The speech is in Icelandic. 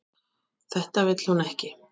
Þetta vill hún ekki.